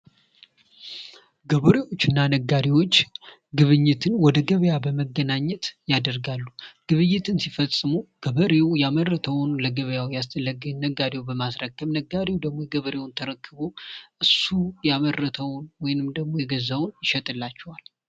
ገበሬዎች እና ነጋዴዎች ግብይትን ወደ ገበያ በመገናኘት ያደርጋሉ ግብይትን ሲፈጽሙ ገበሬው ያመረተውን ለነጋዴው በማስረከብ ነጋዴው ደግሞ ገበሬውን ተረክቦ እሱ ያመረተው ወይም ደግሞ የገዛውን ይሸጥላቸዋል።